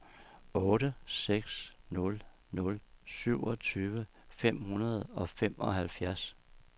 otte seks nul nul syvogtyve fem hundrede og femoghalvfjerds